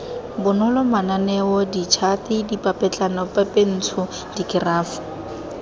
bonolo mananeo ditšhate dipapetlanapepentsho dikerafo